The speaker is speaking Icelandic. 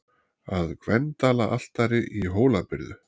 Að Gvendaraltari í Hólabyrðu.